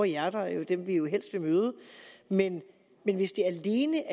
hjerter er jo dem vi helst vil møde men hvis det alene